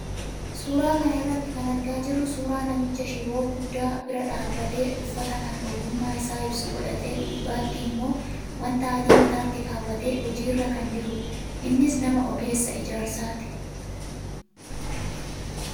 Suuraa kana irraa kan argaa jirru suuraa namicha shiboo guddaa bira dhaabbatee uffata kan ogummaa isaa ibsu godhatee gubbaatti immoo wanta adii mataatti kaawwatee hojiirra kan jirudha. Innis nama ogeessa ijaarsaati.